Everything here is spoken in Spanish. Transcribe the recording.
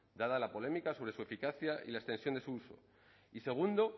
dada la polémica sobre su eficacia y la extensión de su uso y segundo